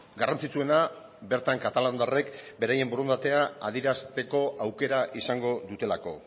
garrantzitsuena bertan katalandarrek beraien borondatea adierazteko aukera izango dutelako